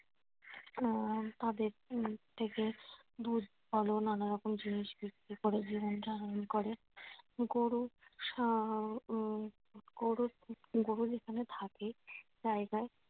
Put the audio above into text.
আহ তাদের থেকে দুধ আরো নানা রকম জিনিস বিক্রি করে জীবন ধারন করে। গরু গরু গরু যেখানে থাকে জায়গায়